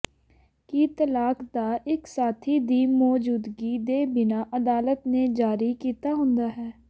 ਕਿ ਤਲਾਕ ਦਾ ਇੱਕ ਸਾਥੀ ਦੀ ਮੌਜੂਦਗੀ ਦੇ ਬਿਨਾ ਅਦਾਲਤ ਨੇ ਜਾਰੀ ਕੀਤਾ ਹੁੰਦਾ ਹੈ